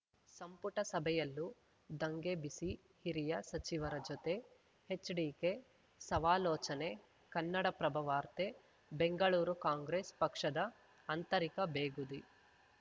ಸಂಪುಟ ಸಭೆಯಲ್ಲೂ ದಂಗೆ ಬಿಸಿ ಹಿರಿಯ ಸಚಿವರ ಜೊತೆ ಎಚ್‌ಡಿಕೆ ಸವಾಲೋಚನೆ ಕನ್ನಡಪ್ರಭ ವಾರ್ತೆ ಬೆಂಗಳೂರು ಕಾಂಗ್ರೆಸ್‌ ಪಕ್ಷದ ಅಂತರಿಕ ಬೇಗುದಿ